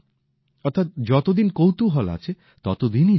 অর্থাৎ যতদিন কৌতুহল আছে ততদিনই জীবন